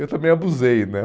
Eu também abusei, né?